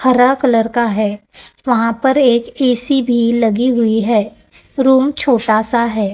हरा कलर का है वहां पर एक ए_सी भी लगी हुई है रूम छोटा सा है।